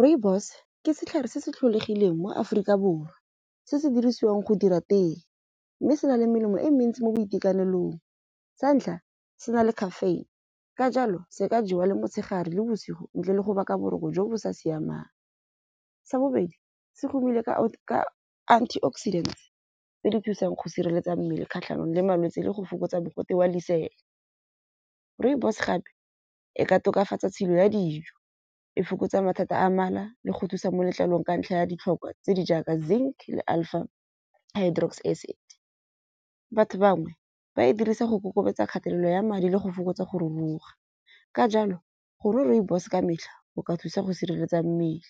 Rooibos ke setlhare se se tlholegileng mo Afrika Borwa, se se dirisiwang go dira tee. Mme se na le melemo e mentsi mo boitekanelong. Sa ntlha, se na le caffeine ka jalo se ka jewa le motshegare le bosigo ntle le go baka boroko jo bo sa siamang. Sa bobedi, se romile ka ka antioxidant tse di thusang go sireletsa mmele kgatlhanong le malwetsi le go fokotsa mogote wa lesela. Rooibos gape e ka tokafatsa tshilo ya dijo. E fokotsa mathata a mala le go thusa mo letlalong ka ntlha ya ditlhokwa tse di jaaka zinc le acid. Batho bangwe ba e dirisa go kokobetsa kgatelelo ya madi ile go fokotsa go ruruwa. Ka jalo gore rooibos ka metlha go ka thusa go sireletsa mmele